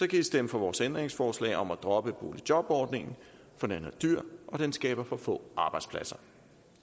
kan i stemme for vores ændringsforslag om at droppe boligjobordningen for den er dyr og den skaber for få arbejdspladser